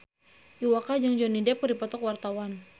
Iwa K jeung Johnny Depp keur dipoto ku wartawan